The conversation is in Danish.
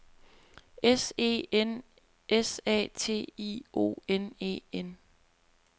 S E N S A T I O N E N